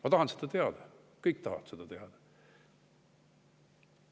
Ma tahan seda teada, kõik tahavad seda teada.